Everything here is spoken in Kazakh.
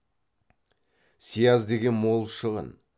сияз деген мол шығын